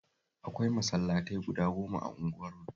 Akwai masallatai guda goma a unguwarmu